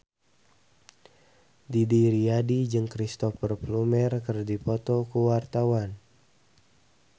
Didi Riyadi jeung Cristhoper Plumer keur dipoto ku wartawan